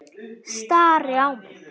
Stari á mig.